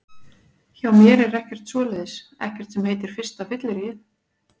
Hjá mér er ekkert svoleiðis, ekkert sem heitir fyrsta fylliríið.